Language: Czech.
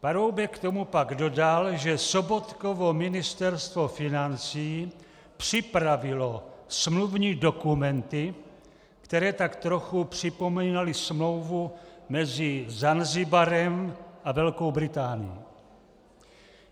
Paroubek k tomu pak dodal, že Sobotkovo Ministerstvo financí připravilo smluvní dokumenty, které tak trochu připomínaly smlouvu mezi Zanzibarem a Velkou Británií.